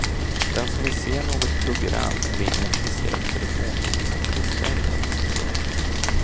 Den som vill se något program ringer ett speciellt telefonnummer och beställer. punkt